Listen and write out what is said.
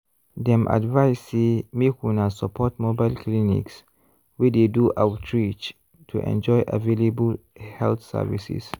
dem advise say make una support mobile clinics wey dey do outreach to enjoy avallable health services.